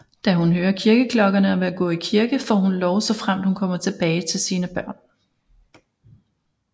Da hun hører kirkeklokkeerne og vil gå i kirke får hun lov såfremt hun kommer tilbage til sine børn